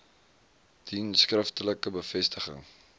dien skriftelike bevestiging